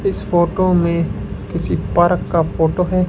इस फोटो में किसी पार्क का फोटो है।